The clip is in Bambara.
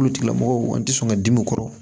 Olu tigilamɔgɔw an tɛ sɔn ka dimiw kɔrɔ